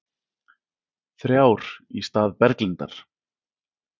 Þrjár í stað Berglindar